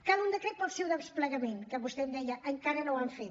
cal un decret per al seu desplegament que vostè em deia encara no ho han fet